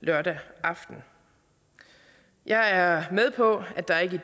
lørdag aften jeg er med på at der ikke